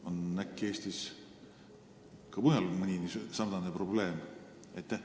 Või on äkki Eestis ka mujal samasugune probleem?